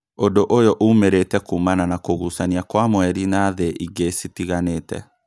Ũndũ ũyũ ũmĩrĩte kuumana na kũgucania Kwa mweri na thĩ ingĩ citiganĩte